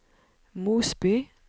Mosby